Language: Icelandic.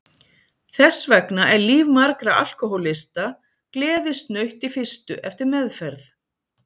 Þess vegna er líf margra alkohólista gleðisnautt í fyrstu eftir meðferð.